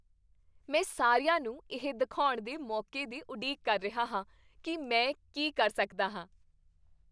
ਮੈਂ ਸਾਰਿਆਂ ਨੂੰ ਇਹ ਦਿਖਾਉਣ ਦੇ ਮੌਕੇ ਦੀ ਉਡੀਕ ਕਰ ਰਿਹਾ ਹਾਂ ਕੀ ਮੈਂ ਕੀ ਕਰ ਸਕਦਾ ਹਾਂ।